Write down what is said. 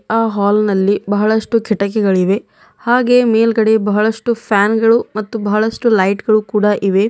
ಆ ಹಾಲ್ ನಲ್ಲಿ ಬಹಳಷ್ಟು ಕಿಟಕಿಗಳಿವೆ ಹಾಗೆ ಮೇಲ್ಗಡೆ ಬಹಳಷ್ಟು ಫ್ಯಾನ್ ಗಳು ಮತ್ತು ಬಹಳಷ್ಟು ಲೈಟ್ ಗಳು ಕೂಡ ಇವೆ.